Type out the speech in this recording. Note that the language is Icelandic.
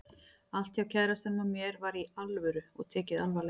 Allt hjá kærastanum og mér var Í ALVÖRU og tekið alvarlega.